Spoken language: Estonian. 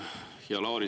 Hea Lauri!